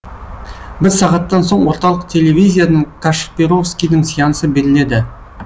бір сағаттан соң орталық телевизиядан кашпировскийдің сеансы беріледі